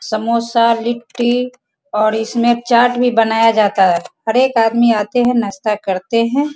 समोसा लिट्टी और इसमें चाट भी बनाया जाता है हर एक आदमी आते है नाश्ता करते है।